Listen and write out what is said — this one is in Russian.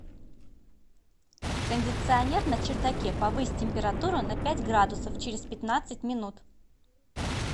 кондиционер на чердаке повысь температуру на пять градусов через пятнадцать минут